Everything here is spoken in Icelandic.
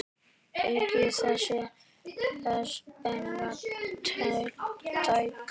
Eigið þið þessa peninga tiltæka?